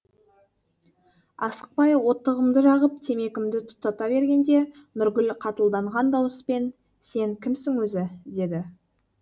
асықпай оттығымды жағып темекімді тұтата бергенде нұргүл қатылданған дауыспен сен кімсің өзі деді